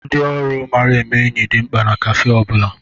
Ndị ọrụ mara eme enyi dị mkpa na káfé ọ bụla